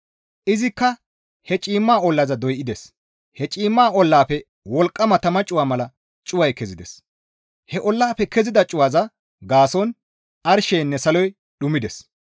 Izikka he ciimma ollaza doydes; he ciimma ollaafe wolqqama tama cuwa mala cuway kezides; he ollaafe kezida cuwaza gaason arsheynne saloy dhumides.